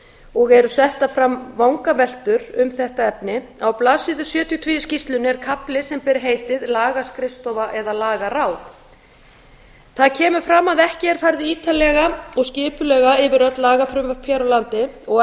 og eru settar fram vangaveltur um þetta efni á blaðsíðu sjötíu og tvö í skýrslunni er kafli sem ber heitið lagaskrifstofa eða lagaráð þar kemur fram að ekki er farið ítarlega og skipulega yfir öll lagafrumvörp hér á landi og